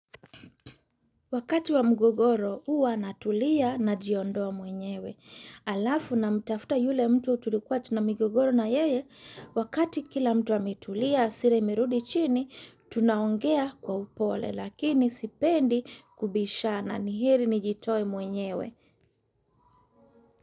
Wakati wa mgogoro, huwa natulia najiondoa mwenyewe. Halafu namtafuta yule mtu tulikuwa tuna migogoro na yeye, wakati kila mtu ametulia hasira imerudi chini, tunaongea kwa upole lakini sipendi kubishana ni heri nijitoe mwenyewe.